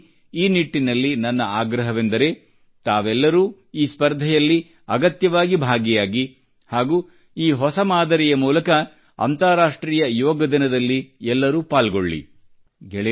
ಹೀಗಾಗಿ ಈ ನಿಟ್ಟಿನಲ್ಲಿ ನನ್ನ ಆಗ್ರಹವೆಂದರೆ ತಾವೆಲ್ಲರೂ ಈ ಸ್ಪರ್ಧೆಯಲ್ಲಿ ಅಗತ್ಯವಾಗಿ ಭಾಗಿಯಾಗಿ ಹಾಗೂ ಈ ಹೊಸ ಮಾದರಿಯ ಮೂಲಕ ಅಂತಾರಾಷ್ಟ್ರೀಯ ಯೋಗ ದಿನದಲ್ಲಿ ಎಲ್ಲರೂ ಪಾಲ್ಗೊಳ್ಳಿ